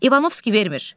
İvanovski vermir.